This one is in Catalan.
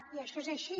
i això és així